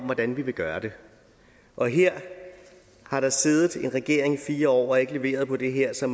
hvordan vi vil gøre det og her har der siddet en regering i fire år og ikke leveret på det her så